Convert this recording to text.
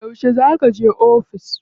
Yauce za kaje ofis?